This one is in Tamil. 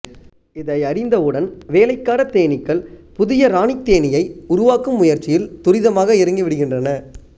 இதை அறிந்த உடன் வேலைக்காரத் தேனீக்கள் புதிய இராணித் தேனீயை உருவாக்கும் முயற்சியில் துரிதமாக இறங்கிவிடுகின்றன